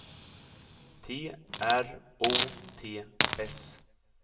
T R O T S